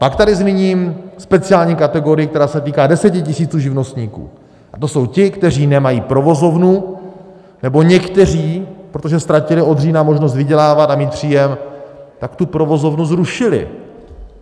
Pak tady zmíním speciální kategorii, která se týká desetitisíců živnostníků, to jsou ti, kteří nemají provozovnu, nebo někteří, protože ztratili od října možnost vydělávat a mít příjem, tak tu provozovnu zrušili.